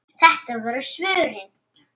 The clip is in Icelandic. Þetta voru svörin.